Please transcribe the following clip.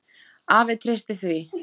Afi treysti því.